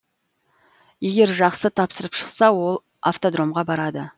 егер жақсы тапсырып шықса ол автодромға барады